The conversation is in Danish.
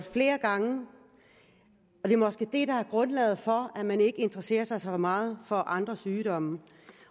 flere gange det er måske det der er grundlaget for at man ikke interesserer sig så meget for andre sygdomme